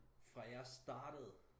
Fra jeg startede